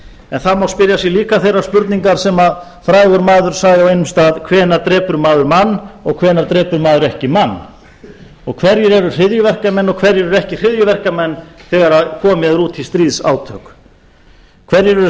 en það má spyrja sig álita þeirrar spurningar sem frægur maður sagði á einum stað hvenær drepur maður mann og hvenær drepur maður ekki mann hverjir eru hryðjuverkamenn og hverjir eru ekki hryðjuverkamenn þegar komið er út í sríðsátök hverjir eru